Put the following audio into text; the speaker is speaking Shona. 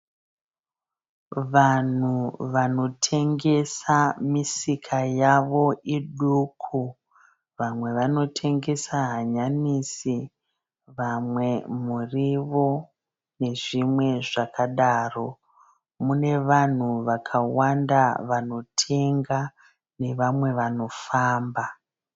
Vanhu vanotengesa misika yavo iduku. Vamwe vanotengesa hanyanisi vamwe muriwo nezvimwe zvakadaro. Mune vanhu vakawanda vanotenga nevamwe vanofamba.